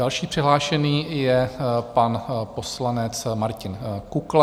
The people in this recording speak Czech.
Další přihlášený je pan poslanec Martin Kukla.